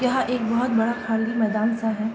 यहाँ एक बहोत बड़ा खाली मैदान-सा है।